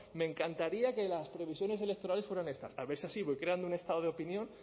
me encantaría que las previsiones electorales fueran estas a ver si así voy creando un estado de opinión